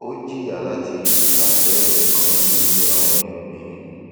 ó jìyà láti ifàsẹyìn kan nínú àwọn ìpín